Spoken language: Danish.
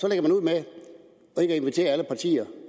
at invitere alle partier